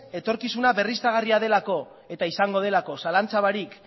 etorkizuna berriztagarria delako eta izango delako zalantza barik